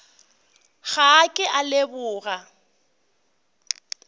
ga a ke a leboga